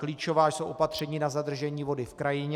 Klíčová jsou opatření na zadržení vody v krajině.